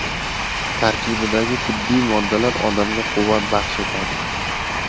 Tarkibidagi tabiiy moddalar odamga quvvat baxsh etadi.